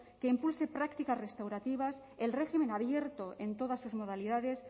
que impulse prácticas restaurativas el régimen abierto en todas sus modalidades